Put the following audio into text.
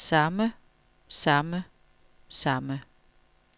samme samme samme